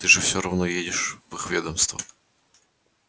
ты же все равно едешь в их ведомство